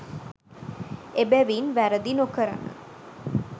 එබැවින් වැරැදි නොකරන